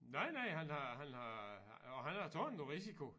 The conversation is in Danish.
Nej nej han har han har og han har taget nogle risiko